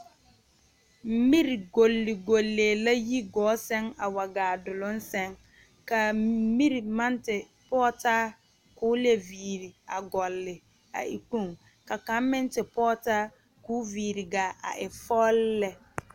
Miri goli goli la a yi gɔɔ seŋ a waa gaa duluŋ seŋ kaa miri maŋ te pɔgtaa ka o e viire a gɔli a e kpoŋ ka kaŋ meŋ te pɔŋtaa ka o viire gaa a e fɔɔli lɛ